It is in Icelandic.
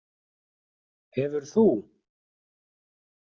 Hefur þú.?